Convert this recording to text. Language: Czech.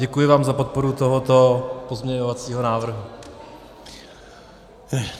Děkuji vám za podporu tohoto pozměňovacího návrhu.